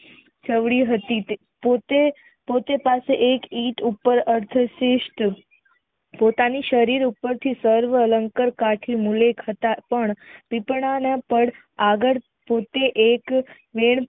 ચાયડય હતી પોતે પાસે એક ઈટ ઉપર અલ્પસિષ્ઠ પોતાને શરીર ઉપરથી એલન અલંકર આથી મુલક હતા પણ પીપળા ના પડ આગળ પોતે એક એક